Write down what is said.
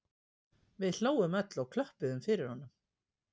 Við hlógum öll og klöppuðum fyrir honum